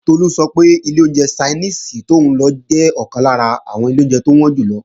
Tolú sọ pé ilé oúnjẹ Ṣainíìsì tóún lọ jẹ́ ọ̀kan lára àwọn ilé oúnjẹ tó wọ́n jù lọ